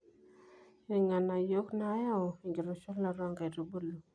irng'anayio nayau enkitushulata oonkaitubulu